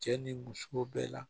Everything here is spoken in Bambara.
Cɛ ni muso bɛɛ la